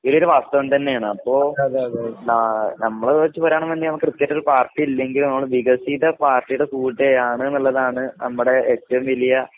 ഇതൊരു വാസ്തവം തന്നെയാണ് അപ്പൊ ന നമ്മള് വെച്ച് പറയാണെങ്കിൽ നമുക്ക് കൃത്യമായിട്ടൊരു പാർട്ടില്ലെങ്കിലും നമ്മൾ വികസിത പാർട്ടിയുടെ കൂടെയാണന്നുള്ളതാണ് നമ്മുടെ ഏറ്റവും വലിയ